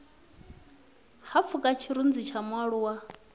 ha pfuka tshirunzi tsha mualuwa